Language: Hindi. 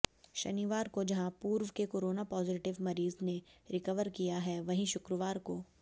शनिवार को जहां पूर्व के कोराना पॉजिटिव मरीज ने रिकवर किया है वहीं शुक्रवार को